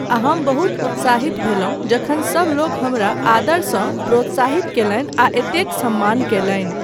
आ हम बहुत उत्साहित भेलहुँ जखन सबलोक हमरा आदरसँ प्रोत्साहित कयलनि आ एतेक सम्मान कयलनि।